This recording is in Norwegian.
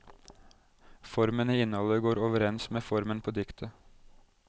Formen i innholdet går overens med formen på diktet.